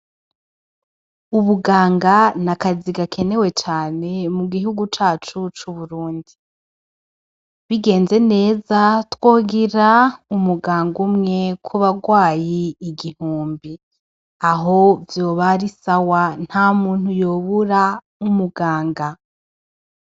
Ubuganga ni akazi gakenewe cane mu gihugu cacu c'uburundi bigenze neza twogira umuganga umwe kubarwayi igihumbi aho vyobarisawa nta muntu yobura umuganga.